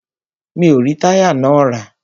Mi o rí táyà náà rà.